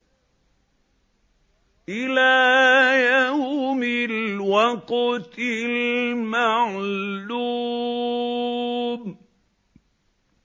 إِلَىٰ يَوْمِ الْوَقْتِ الْمَعْلُومِ